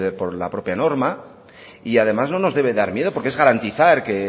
por la propia norma además no nos debe dar miedo porque es garantizar que